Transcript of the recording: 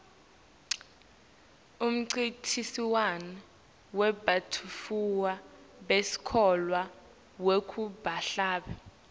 umncintiswano webantfwana besikolwa wekuhlabela